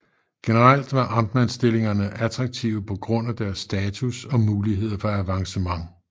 Generelt var amtmandstillingerne attraktive på grund af deres status og muligheder for avancement